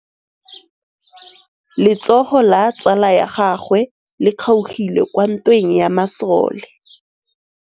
Letsôgô la tsala ya gagwe le kgaogile kwa ntweng ya masole.